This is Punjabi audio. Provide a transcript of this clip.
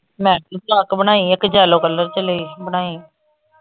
ਮੈਂ ਵੀ ਫਰਾਕ ਬਣਾਈ ਆ ਇਕ yellow color ਚ ਲਈ ਬਣਾਈ।